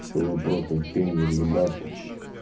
что вопросов пень не вьебаться